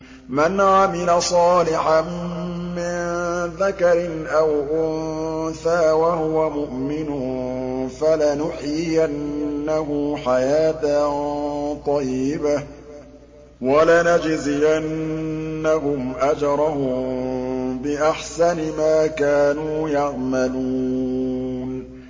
مَنْ عَمِلَ صَالِحًا مِّن ذَكَرٍ أَوْ أُنثَىٰ وَهُوَ مُؤْمِنٌ فَلَنُحْيِيَنَّهُ حَيَاةً طَيِّبَةً ۖ وَلَنَجْزِيَنَّهُمْ أَجْرَهُم بِأَحْسَنِ مَا كَانُوا يَعْمَلُونَ